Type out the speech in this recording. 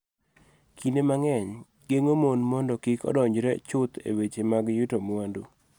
Kinde mang�eny, geng�o mon mondo kik odonjre chuth e weche mag yuto mwandu.